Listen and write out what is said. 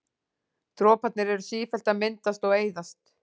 Droparnir eru sífellt að myndast og eyðast.